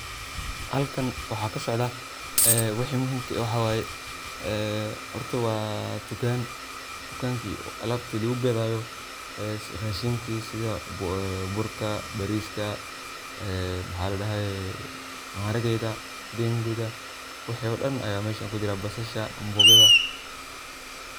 halkan waxaa kasocdaa ee wixii muhimke waxa way ee horta waa tukaan, tukaanki alabta lugu gadayo rashinka sidii burka, bariska ee maxa ladhahaye maharageda, denguda wixii oo dhan ayan meshan kujira ,basasha ambogada